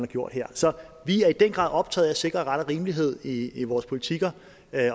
gjort her så vi er i den grad optaget af at sikre ret og rimelighed i i vores politikker